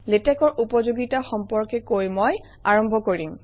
লেটেক্সৰ উপযোগিতা সম্পৰ্কে কৈ মই আৰম্ভ কৰিম